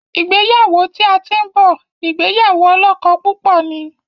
ìgbéyàwó tí a tin bó ìgbéyàwó olókó púpò ní.